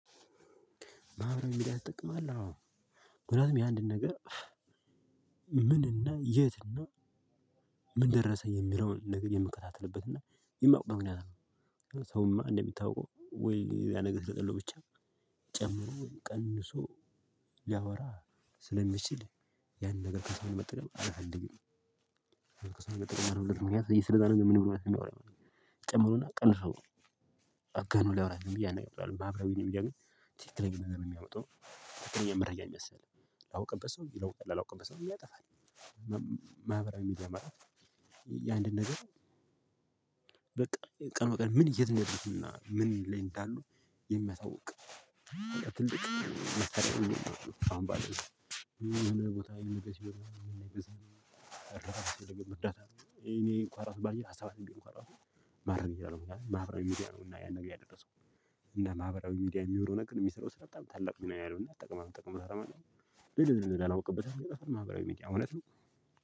ማህበረሰብ ሚዲያ ትጠቅማለህ? አዎ ምክኒያቱም የአንድን ነገር ምንና የትና እና፤ ምን ደረሰ የሚለውን ነገር የምከታተልበት እና የማውቀው ምክንያት ነው ሰውማ እንደሚታወቀው ወይ ሌላ ነገር ብቻ ጨምሮ ቀንሶ ያወራ ስለሚችል ያን ነገር ከሰው መጠቀም አልፈልግም። ነገር ከሰው መጠቀም አልፈልግም ምክንያቱም የስለዛ ነገር ምን እያወራ እንደሆነ አያውቅም ጨምሮ እና ቀንሶ ን አጋኖ ሊያወራ ስለሚችል ዝም ብዬ አላምንም ማህበራዊራዊ ሚድያ ግን ትክክለኛ ነገር ነው የሚያወጣው ትክክለኛ መረጃ ነው ምያስተላልፈው ላውቅበት ሰው ይለውጣል ላላወቀበት ሰው ይጠፋል። ማህበራዊ ሚዲያ ማለት የአንድን ነገር በቃ ቀን በቀን ወጣት ምን የት እንደረስንና ምን ላይ እንዳሉ የሚያሳውቅ ትልቅ መሳርያ ነው አሁን ባለው የሆነ ቦታ የሆነ ነገር ስሆን እርዳታ እኔ ባለኝ ሀሳብ ማህበራዊ ሚዲያ ነው እና ያን ነገር ያደረሰው። እና ማህበራዊ ሚዲያ የሚኖረው ነገር የሚሰራው ስራ በጣም ታላቅ ሚና ያለው እና ጥቅማ ጥቅሞ አለው። ግን ላወቀበት አይጠቅምም ማህበራዊ ሚድያ አውነት ነው።